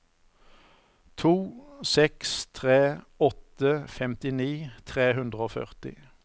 to seks tre åtte femtini tre hundre og førti